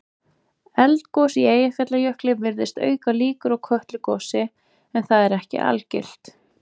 Eldgos í Eyjafjallajökli virðist auka líkur á Kötlugosi en það er ekki algilt.